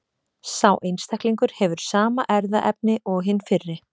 Sá einstaklingur hefur sama erfðaefni og hinn fyrri.